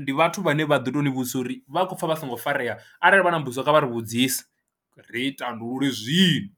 ndi vhathu vhane vha ḓo tou ni vhudzisa uri vha khou pfha vha songo farea arali vha na mbudziso kha vha ri vhudzise ri tandululwe zwino.